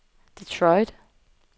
Detroit